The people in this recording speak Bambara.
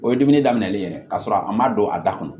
O ye dumuni daminɛlen ye ka sɔrɔ a ma don a da kɔnɔ